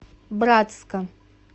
братска